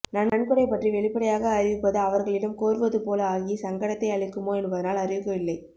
நன்கொடை பற்றி வெளிப்படையாக அறிவிப்பது அவர்களிடம் கோருவதுபோல ஆகி சங்கடத்தை அளிக்குமோ என்பதனால் அறிவிக்கவில்லை